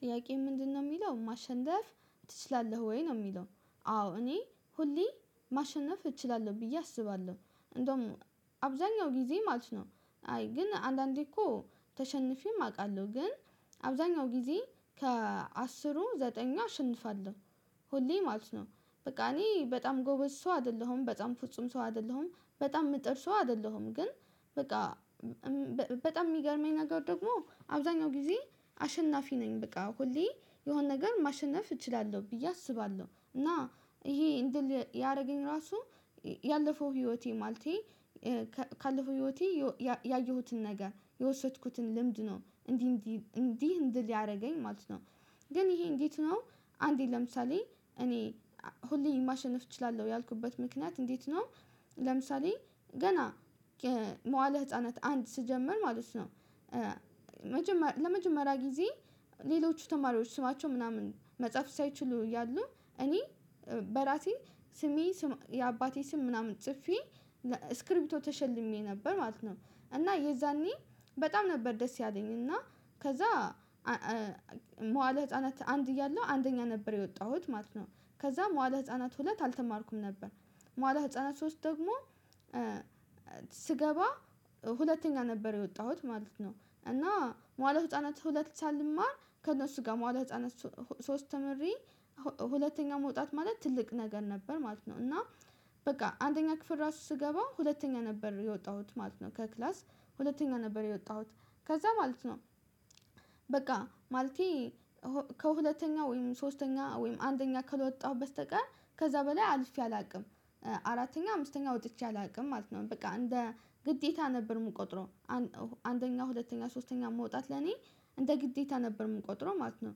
ጥያቄ ምንድነው የሚለው ማሸነፍ ትችላለህ ወይ ነው የሚለው? አዎ እኔ ሁሌ ማሸነፍ እችላለሁ ብዬ አስባለሁ እንደውም አብዛኛው ጊዜ ማለት ነው። አይ ግን አንዳንዴ እኮ ተሸንፌም አውቃለሁ ግን አብዛኛው ጊዜ ከአስሩ ዘጠኝ አሸንፋለሁ ሁሌ ማለት ነው። በቃ እኔ በጣም ጎበዝ ሰው አይደለሁም በጣም ፍጹም ሰው አይደለሁም በጣም ምጥር ሰው አይደለሁም ግን በቃ በጣም የሚገርመኝ ነገር ደግሞ አብዛኛው ጊዜ አሸናፊ ነኝ በቃ ሁሌ የሆነ ነገር ማሸነፍ እችላለሁ ብዬ አስባለሁ እና ይሄ እንድል ያደረገኝ ራሱ ያለፈው ህይወቴ ማለቴ ካለፈው ህይወቴ የወ ያ ያየሁትን ነገር የወሰድኩትን ልምድ ነው እንዲህ እንዲ እንዲህ እንድል ያደርገኝ ማለት ነው። ግን ይሄ እንዴት ነው አንዴ ለምሳሌ እኔ ሁሌም ማሸነፍ እችላለሁ ያልኩበት ምክንያት እንዴት ነው? ለምሳሌ ገና መዋለ ህፃናት አንድ ስጀምር ማለት ነው ለመጀመሪያ ጊዜ ሌሎች ተማሪዎች ስማቸው ምናምን መጽሐፍ ሳይችሉ እያሉ እኔ በራሴ ስሜ ስም የአባቴ ስም ምናምን ጽፌ ስክሪፕቶ ተሸልሜ ነበር ማለት ነው። እና የዛኔ በጣም ነበር ደስ ያለኝ እና ከዛ መዋለ ህፃናት አንድ እያለሁ አንደኛ ነበር የወጣሁት ማለት ነው ከዛ መዋለ ህፃናት ሁለት አልተማርኩም ነበር። መዋለ ህፃናት ሶስት ደግሞ ስገባ ሁለተኛ ነበር የወጣሁት ማለት ነው እና መዋለ ህፃናት ሁለት ብቻ ልማር ከእነሱ ጋር መዋል ህፃነት ሶስት ተምሬ ሁለተኛ መውጣት ማለት ትልቅ ነገር ነበር ማለት ነው። እና በቃ አንደኛ ክፍል ራሱ ስገባ ሁለተኛ ነበር የወጣሁት ማለት ነው ከክላስ ሁለተኛ ነበር የወጣሁት ከዛ ማለት ነው። በቃ ማለቴ ከሁለተኛ ወይም ሶስተኛ ወይም አንደኛ ከለወጣሁ በስቀር ከዛ በላይ አልፌ አላውቅም አራተኛ አምስተኛ ወጥቼ አላውቅም ማለት ነው። በቃ እንደ ግዴታ ነበር የምቆጥረው አንደኛ ሁለተኛ ሶስተኛ መውጣት ለኔ እንደ ግዴታ ነበር የምቆጥረው ማለት ነው።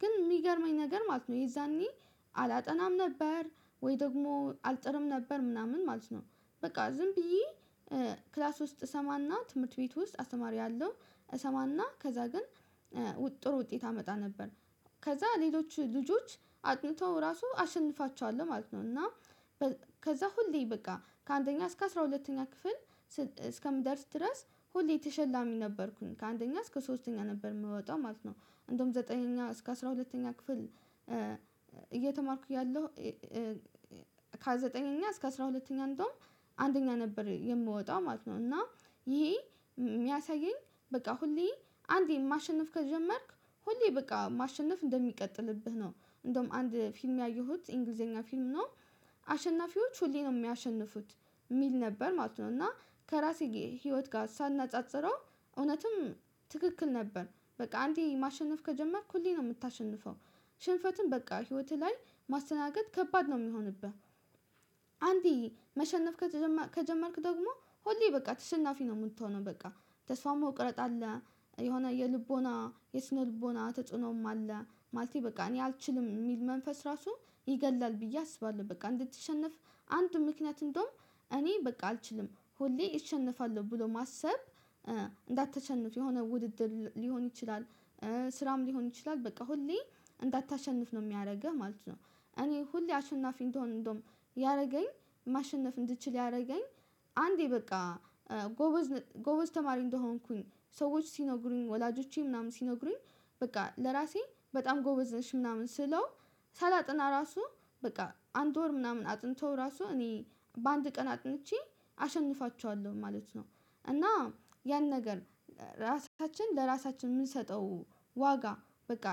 ግን የሚገርመኝ ነገር ማለት ነው የዛኔ አላጠናም ነበር ወይ ደግሞ አልጥርም ነበር ምናምን ማለት ነው። በቃ ዝም ብዬ ክላስ ውስጥ እሰማና ትምህርት ቤት ውስጥ አስማሪ ያለው እሰማና ከዛ ግን ጥሩ ውጤት አመጣ ነበር ከዛ ሌሎች ልጆች አጥንተው ራሱ አሸንፋቸዋለሁ ማለት ነው። እና ከዛ ሁሌ በቃ ከአንደኛ እስከ አስራ ሁለተኛ ክፍል እስከምደርስ ድረስ ሁሌ የተሸላሚ ነበርኩኝ ከአንደኛ እስከ ሶስተኛ ነበር የምወጣው ማለት ነው አንደውም ዘጠነኛ እስከ አስራ ሁለተኛ ክፍል እየተማርኩኝ እያለሁ ከዘጠነኛ እስከ አስራ ሁለተኛ እንደውም አንደኛ ነበር የምወጣው ማለት ነው። እና ይሄ የሚያሳየኝ በቃ ሁሌ አንዴ ማሸነፍ ከጀመርክ ሁሌ በቃ ማሸነፍ እንደሚቀጥልብህ ነው እንደውም አንድ ፊልም ያየሁት እንግሊዘኛ ፊልም ነው አሸናፊዎች ሁሌ ነው የሚያሸንፉት የሚል ነበር ማለት ነው። እና ከራሴ ህይወት ጋር ሳናጻጽረው እውነትም ትክክል ነበር በቃ አንዴ ማሸነፍ ከጀመርኩ ሁሌ ነው የምታሸንፈው ሽንፈትን በቃ ህይወትህ ላይ ማስተናገድ ከባድ ነው የሚሆንብህ። አንዲ መሸነፍ ከጀመርክ ደግሞ ሁሌ በቃ ተሰናፊ ነው የምትሆነው በቃ ተስፋም መቁረጥ አለ። የሆነ የልቦና የስነ ልቦና ተጽዕኖም አለ ማለቴ በቃ እኔ አልችልም የሚል መንፈስ ራሱ ይገድላል ብዬ አስባለሁ በቃ እንድትሸነፍ አንድ ምክንያት እንደውም እኔ በቃ አልችልም ሁሌ ይሸነፋሉ ብሎ ማሰብ እንዳትተቸንፍ የሆነ ውድድር ሊሆን ይችላል። ስራም ሊሆን ይችላል በቃ ሁሌ እንዳታሸንፍ ነው የሚያደርግህ ማለት ነው። እኔ ሁሌ አሸናፊ እንደሆንኩኝ እንደውም ያደረገኝ ማሸነፍ እንድትችል ያደረገኝ አንዴ በቃ ጎበዝ ጎበዝ ተማሪ እንደሆንኩኝ ሰዎች ሲነግሩኝ ወላጆቼ ምናምን ሲነግሩኝ በቃ ለራሴ በጣም ጎበዝ ነሽ ምናምን ስለው ሳላጥና ራሱ በቃ አንድ ወር ምናምን አጥንተው ራሱ እኔ በአንድ ቀን አጥንቼ አሸንፋቸዋለሁ ማለት ነው። እና ያን ነገር ራሳችን ለራሳችን የምንሰጠው ዋጋ በቃ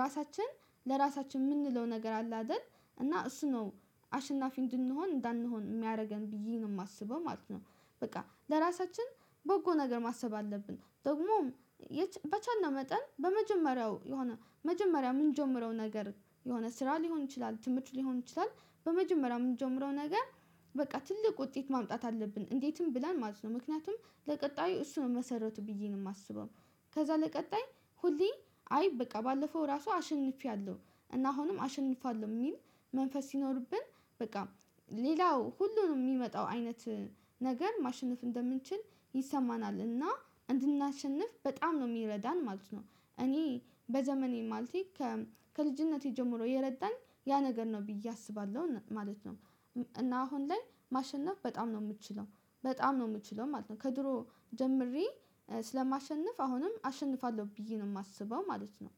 ራሳችን ለራሳችን የምንለው ነገር አለ አይደል እና እሱ ነው አሸናፊ እንድንሆን እንዳንሆን የሚያደርገን ብዬ ነው የማስበው ማለት ነው። በቃ ለራሳችን በጎ ነገር ማሰብ አለብን ደግሞም በቻናል መጠን በመጀመሪያው የሆነ መጀመሪያ የምንጀምረው ነገር የሆነ ስራ ሊሆን ይችላል ትምህርት ሊሆን ይችላል በመጀመሪያ የምንጀምረው ነገር በቃ ትልቅ ውጤት ማምጣት አለብን እንዴትም ብለን ማለት ነው። ምክንያቱም ለቀጣዩ እሱን መሰረቱ ብዬ ነው የማስበው ከዛ ለቀጣይ ሁሌ አይ በቃ ባለፈው ራሱ አሸንፌያለሁ እና አሁንም አሸንፋለሁ የሚል መንፈስ ሲኖርብን በቃ ሌላው ሁሉንም የሚመጣው አይነት ነገር ማሸነፍ እንደምንችል ይሰማናል እና እንድናሸንፍ በጣም ነው የሚረዳን ማለት ነው። እኔ በዘመኔ ማለቴ ከልጅነቴ ጀምሮ የረዳኝ ያ ነገር ነው ብዬ አስባለሁ ማለት ነው። እና አሁን ላይ ማሸነፍ በጣም ነው የምችለው በጣም ነው የምችለው ማለት ነው ከድሮ ጀምሬ ስለማሸንፍ አሁንም አሸንፋለሁ ብዬ ነው የማስበው ማለት ነው።